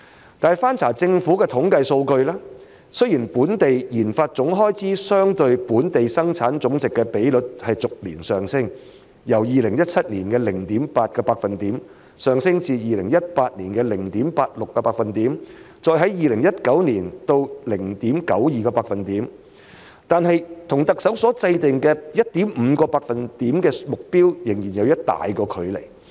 然而，翻查政府的統計數據，雖然本地研發總開支相對本地生產總值的比率逐年上升，由2017年的 0.8% 上升至2018年的 0.86%， 再上升至2019年的 0.92%， 但是與特首所制訂的 1.5% 目標仍有一大段距離。